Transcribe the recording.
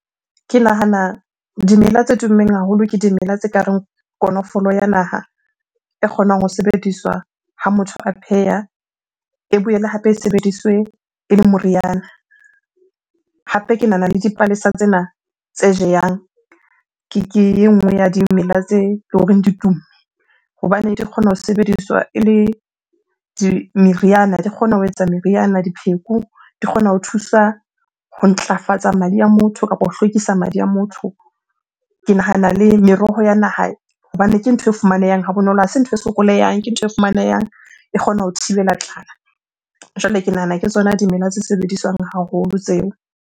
Ke nahana dimela tse tummeng haholo ke dimela tse kareng konofolo ya naha e kgonang ho sebediswa ha motho a pheha, e boele hape e sebediswe ele moriana. Hape ke nahana le dipalesa tsena tse jehang ke e nngwe ya dimela tse loreng di tumme hobane di kgona ho sebediswa ele di, meriana. Di kgona ho etsa meriana, dipheko. Di kgona ho thusa ho ntlafatsa madi a motho kapo ho hlwekisa madi a motho. Ke nahana le meroho ya naha hobane ke ntho e fumanehang ha bonolo, ha se ntho e sokolehang. Ke ntho e fumanehang e kgona ho thibela tlala. Jwale ke nahana ke tsona dimela tse sebediswang haholo tseo.